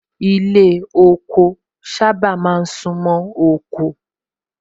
Ilé ọkọ sábà máa ń sún mọ́ oko